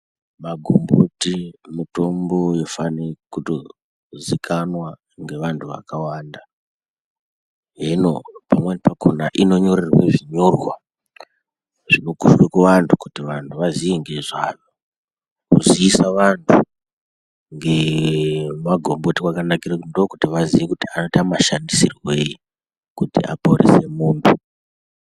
Magomboti mutombo unofane kuto zvikanwa kuzikanwa ngevantu vakawanda. Hino pamweni pakona inonyorerwe zvinyorwa zvinokombe kuvantu kuti vantu vaziye ngezvayo. Kuziise vantu ngemagomboti kwakanakira kuti ndokutoti vazive kuti anoita mashandisirwei kuti aporese muntu.